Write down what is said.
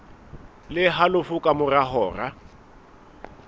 le halofo ka mora hora